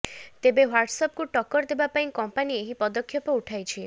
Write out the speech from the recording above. ତେବେ ହ୍ୱାଟସଆପକୁ ଟକ୍କର ଦେବା ପାଇଁ କଂପାନୀ ଏହି ପଦକ୍ଷେପ ଉଠାଇଛି